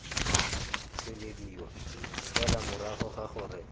tswelediwa fela morago ga gore